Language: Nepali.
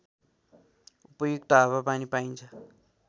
उपयुक्त हावापनि पाइन्छ